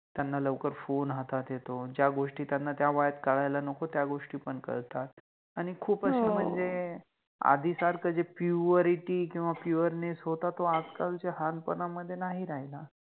त्याना लवकर फोन हातात येतो, ज्या गोष्टी त्याना त्या वयात कळायला नको त्या गोष्टी पण कळतात, आणि खुप अशे मनजे आधिसारखे Purity किव्वा Pureness होता तो आजकालच्या लहानपणामधे नाहि राहिला